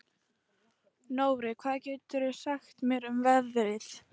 Nóri, hvað geturðu sagt mér um veðrið?